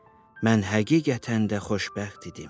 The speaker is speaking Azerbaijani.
mən həqiqətən də xoşbəxt idim.